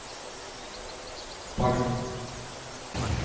Bagn